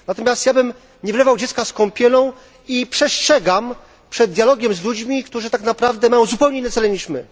Natomiast ja bym nie wylewał dziecka z kąpielą i przestrzegam przed dialogiem z ludźmi, którzy tak naprawdę mają zupełnie inne cele niż my.